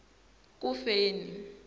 kufeni